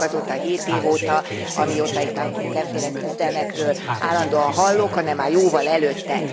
Nem csak azóta a hét év óta, amióta itt már mindenféle küzdelmekről állandóan hallok, hanem már jóval előtte.